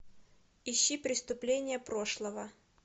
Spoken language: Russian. ищи преступление прошлого